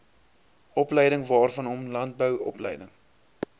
opleidingwaarvanom landbou opleiding